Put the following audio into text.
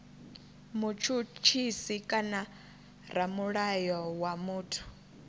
mutshutshisi kana ramulayo wa muthu